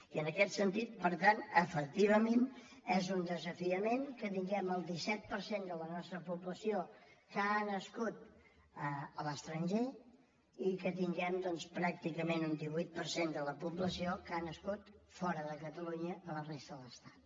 i en aquest sentit per tant efectivament és un desafiament que tinguem el disset per cent de la nostra població que ha nascut a l’estranger i que tinguem doncs pràcticament un divuit per cent de la població que ha nascut fora de catalunya a la resta de l’estat